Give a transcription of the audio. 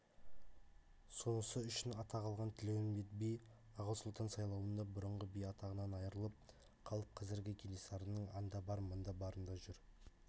сонысы үшін атақ алған тілеуімбет би аға сұлтан сайлауында бұрынғы би атағынан айрылып қалып қазір кенесарының анда бар мында барында жүр